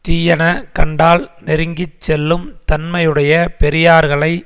தீயன கண்டால் நெருங்கி செல்லும் தன்மையுடைய பெரியார்களை